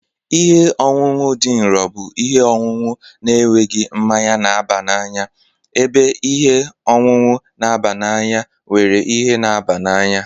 Ihe ọṅụṅụ dị nro bụ ihe ọṅụṅụ na-enweghị mmanya na-aba n'anya ebe ihe ọṅụṅụ na-aba n'anya nwere ihe na-aba n'anya